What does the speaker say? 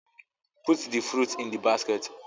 Put the fruits in the basket